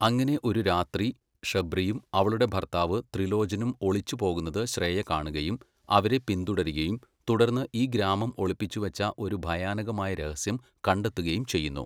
അങ്ങനെ ഒരു രാത്രി ഷബ്രിയും അവളുടെ ഭർത്താവ് ത്രിലോചനും ഒളിച്ച് പോകുന്നത് ശ്രേയ കാണുകയും അവരെ പിന്തുടരുകയും തുടർന്ന് ഈ ഗ്രാമം ഒളിപ്പിച്ചുവച്ച ഒരു ഭയാനകമായ രഹസ്യം കണ്ടെത്തുകയും ചെയ്യുന്നു.